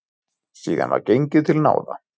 Síðan var gengið til náða.